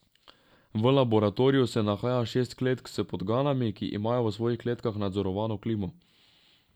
V laboratoriju se nahaja šest kletk s podganami, ki imajo v svojih kletkah nadzorovano klimo.